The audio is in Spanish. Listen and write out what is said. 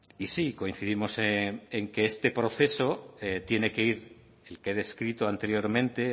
y sí coincidimos en que este proceso tiene que ir el que he descrito anteriormente